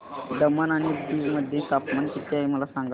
दमण आणि दीव मध्ये तापमान किती आहे मला सांगा